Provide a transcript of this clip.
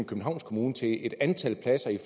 københavns kommune til et antal pladser i